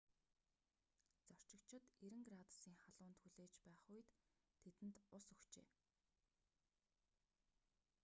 зорчигчид 90f градусын халуунд хүлээж байх үед тэдэнд ус өгчээ